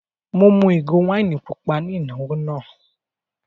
Mo mú ìgò wáìnì pupa ní ìnáwó náà.